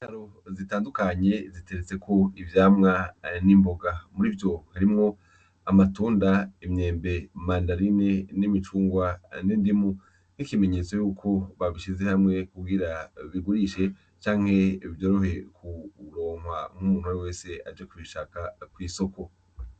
Indaro zitandukanye ziteretseko ivyamwa n'imboga murivyo harimwo: amatunda, imyembe, imandarine, n'imicungwe, n'indimu, nk'ikimenyetso cuko babishize hamwe kugira babigurishe canke vyorohe kuronkwa n'umunt'uwariwe wese aje kubishaka kw'isoko.